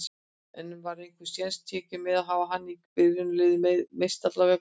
En var einhver séns tekinn með að hafa hana í byrjunarliðinu, meiðslanna vegna?